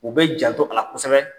U be janto a la kosɛbɛ.